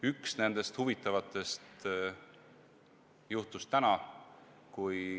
Üks huvitav asi juhtus täna.